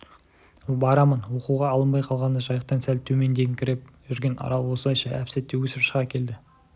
барамын оқуға алынбай қалғанына жайықтан сәл төмендеңкіреп жүрген арал осылайша әп-сәтте өсіп шыға келді